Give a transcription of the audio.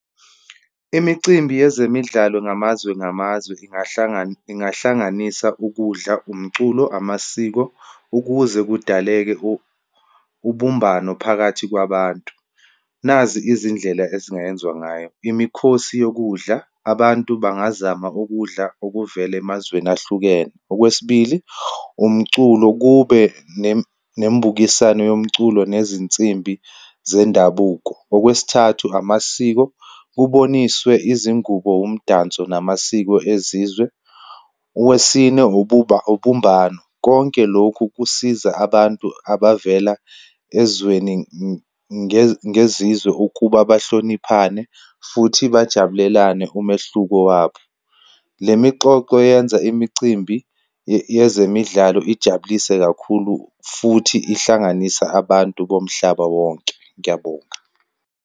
Imicimbi yezemidlalo ngamazwe ngamazwe ingahlanganisa ukudla, umculo, amasiko, ukuze kudaleke ubumbano phakathi kwabantu. Nazi izindlela ezingayenzwa ngayo. Imikhosi yokudla, abantu bangazama ukudla okuvela emazweni ahlukene. Okwesibili umculo, kube nembukisano yomculo nezinsimbi zendabuko. Okwesithathu amasiko, kuboniswe izingubo, umdanso namasiko ezizwe. Owesine ubumbano. Konke lokhu kusiza abantu abavela ezweni ngezizwe, ukuba bahloniphane futhi bajabulelane umehluko wabo. Le mixoxo yenza imicimbi yezemidlalo ijabulise kakhulu, futhi ihlanganisa abantu bomhlaba wonke. Ngiyabonga.